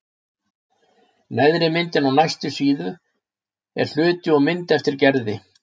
Neðri myndin á næstu síðu er hluti úr mynd eftir Gerði.